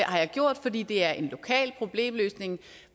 jeg gjort fordi det er en lokal problemløsningsmodel